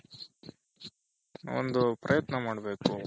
ಒಂದು ಪ್ರಯತ್ನ ಮಾಡ್ಬೇಕು